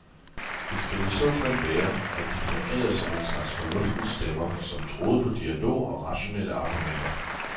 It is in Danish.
Det skal i så fald være, at de fungerede som en slags fornuftens stemmer, som troede på dialog og rationelle argumenter.